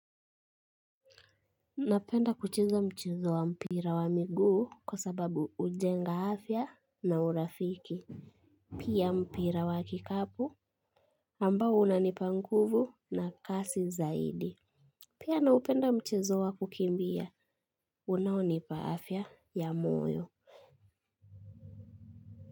Napenda kucheza mchezo wa mpira wa miguu kwa sababu hujenga afya na urafiki. Pia mpira wa kikapu ambao unanipanguvu na kasi zaidi. Pia naupenda mchezo wa kukimbia unaonipa afya ya moyo.